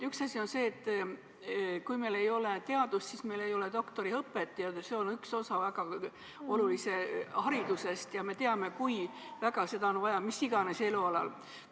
Üks asi on see, et kui meil ei ole teadust, siis meil ei ole doktoriõpet, aga see on üks väga oluline osa haridusest ja me teame, kui väga seda on vaja mis tahes elualal.